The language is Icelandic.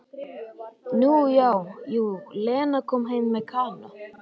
Nú já, jú, Lena kom heim með Kana.